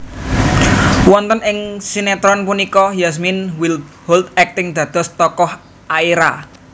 Wonten ing sinétron punika Yasmine Wildbold akting dados tokoh Aira